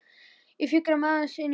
Ég fikra mig áleiðis inn í húsið.